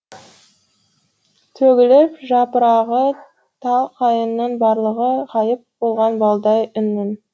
төгіліп жапырағы тал қайыңының барлығы ғайып болған балдай үннің